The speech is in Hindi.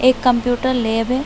एक कम्प्यूटर लैब है।